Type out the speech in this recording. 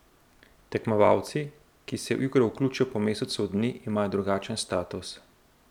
Tekmovalci, ki se v igro vključijo po mesecu dni, imajo drugačen status.